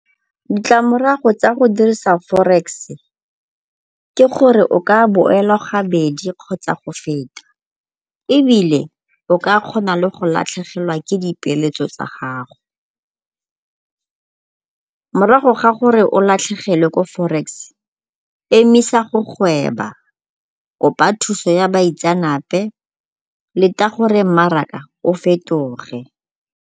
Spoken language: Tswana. Ditlamorago tsa go dirisa forex ke gore o ka boelwa gabedi kgotsa go feta ebile o ka kgona le go latlhegelwa ke dipeeletso tsa gago. Morago ga gore o latlhegelwe ko forex emisa go gweba, kopa thuso go baitseanape, leta gore mmaraka o fetoge.